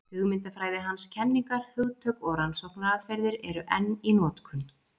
Hugmyndafræði hans, kenningar, hugtök og rannsóknaraðferðir eru enn í notkun.